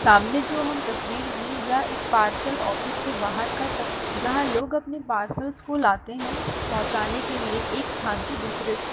सामने जो हम तस्वीर यह एक पार्सल ऑफिस के बाहर का जहाँ लोग अपने पार्सल्स को लाते हैं पहुंचाने के लिए एक स्थान से दुसरे स्था--